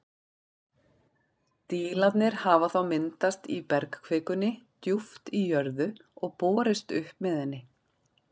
Dílarnir hafa þá myndast í bergkvikunni djúpt í jörðu og borist upp með henni.